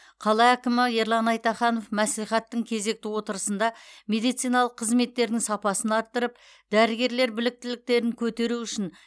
қала әкімі ерлан айтаханов мәслихаттың кезекті отырысында медициналық қызметтердің сапасын арттырып дәрігерлер біліктіліктерін көтеру үшін